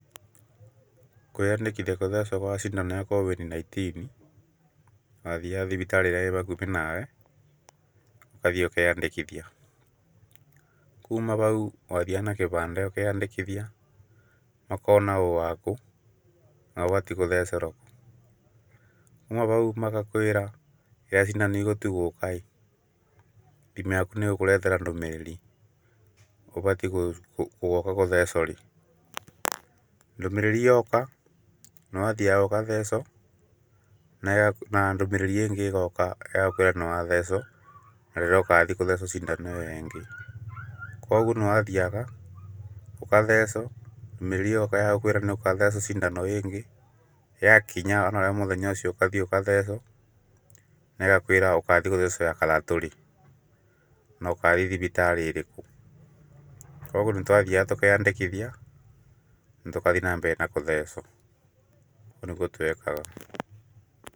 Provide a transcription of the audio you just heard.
Kwĩyandĩkithia gũthecwo cindano ya COVID nineteen, wathiaga thibitarĩ ĩrĩa ĩbakubĩ na we ũkathiĩ ũkeyandĩkithia. Kuma bau wathiaga na kĩbandĩ ũkeyandĩkithia ũgakorwo na ũũ waku na ũgathiĩ gũthecerwo. Kuma bau magakwĩra rĩrĩa cindano igatua gũka ĩ thimũ yaku nĩ ĩgũkũretera ndũmĩrĩri ũbatiĩ gũgoka gũthecwo rĩ. Ndũmĩrĩri yoka nĩ wathiaga ũgathecwo na ndũmĩrĩri ĩngĩ ĩgoka ya gũkũĩra nĩ wathecwo na rĩrĩa ukathi gũthecwo cindano ĩyo ĩngĩ. Koguo nĩ wathiaga ũkathecwo ndũmĩrĩri yoka ya gukũĩra nĩ ũkathecwo cindano ĩngĩ yakinya onawe mũthenya ũcio ũkathi ũgathecwo na ĩgakwĩra ũkathi gũthecwo ya gatatũ rĩ no kathi thibitarĩ ĩrĩkũ. Koguo nĩ twathiaga tũkeyandĩkithia na tũkathi na mbere na kũthecwo ũguo nĩguo twekaga.